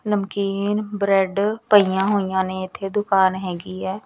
ਨਮਕੀਨ ਬਰੈਡ ਪਈਆਂ ਹੋਈਆਂ ਨੇ ਇੱਥੇ ਦੁਕਾਨ ਹੈਗੀ ਹੈ।